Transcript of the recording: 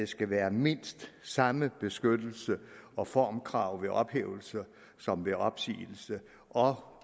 skal være mindst samme beskyttelse og formkrav ved ophævelse som ved opsigelse og